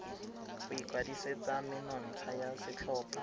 go ikwadisetsa menontsha ya setlhopha